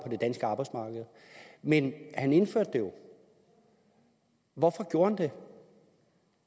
det danske arbejdsmarked men han indførte det jo hvorfor gjorde han det